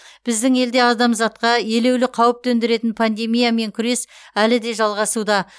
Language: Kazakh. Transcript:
біздің елде адамзатқа елеулі қауіп төндіретін пандемиямен күрес әлі де жалғасуда